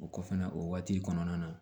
O kɔfɛ na o waati kɔnɔna na